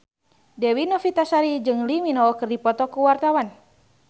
Dewi Novitasari jeung Lee Min Ho keur dipoto ku wartawan